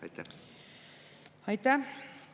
Aitäh!